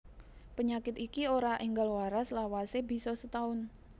Penyakit iki ora enggal waras lawase bisa setaun